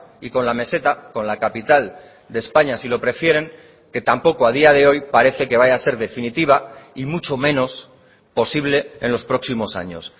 y con la meseta con la capital de españa si lo prefieren que tampoco a día de hoy parece que vaya a ser definitiva y mucho menos posible en los próximos años